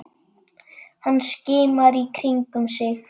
Hann skimar í kringum sig.